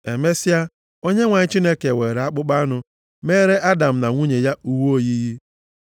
Emesịa, Onyenwe anyị Chineke weere akpụkpọ anụ meere Adam na nwunye ya uwe oyiyi.